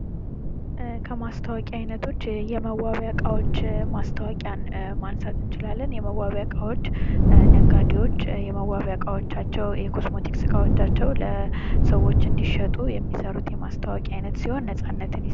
የቴሌቪዥን ማስታወቂያ : በቴሌቪዥን ጣቢያዎች የሚተላለፍ፣ ምስልና ድምጽ ያለው የማስታወቂያ ዓይነት። ሰፊ ተመልካች ስለሚደርስበት ተጽዕኖ ፈጣሪ ነው።